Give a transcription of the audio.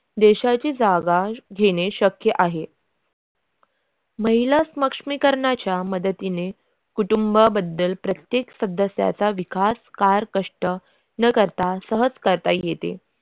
देशाची जागाल घेणे शक्य आहे महिला सक्षमीकरणाच्या मदतीने कुटुंब बद्दल प्रत्येक सदस्याच्या विकास कार कष्ट न करता सहज करता येते.